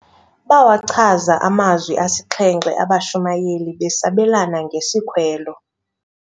Bawachaza amazwi asixhenxe abashumayeli besabelana ngesikhwelo.